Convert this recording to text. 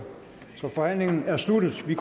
vil